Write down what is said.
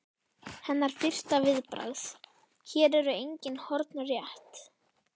Hennar fyrsta viðbragð: Hér eru engin horn rétt.